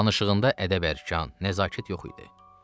Danışığında ədəb-ərkan, nəzakət yox idi.